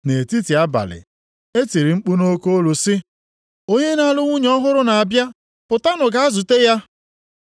“Nʼetiti abalị e tiri mkpu nʼoke olu sị, ‘Onye na-alụ nwunye ọhụrụ na-abịa, pụtanụ gaa zute ya!’